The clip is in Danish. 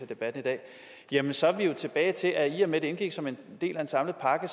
debatten i dag jamen så er vi jo tilbage til at i og med det indgik som en del af en samlet pakke